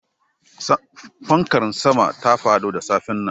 Fankar sama ta fado da safen nan